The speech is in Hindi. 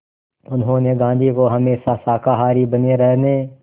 उन्होंने गांधी को हमेशा शाकाहारी बने रहने